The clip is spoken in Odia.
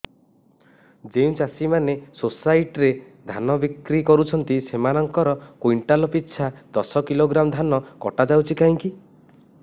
ଯେଉଁ ଚାଷୀ ମାନେ ସୋସାଇଟି ରେ ଧାନ ବିକ୍ରି କରୁଛନ୍ତି ସେମାନଙ୍କର କୁଇଣ୍ଟାଲ ପିଛା ଦଶ କିଲୋଗ୍ରାମ ଧାନ କଟା ଯାଉଛି କାହିଁକି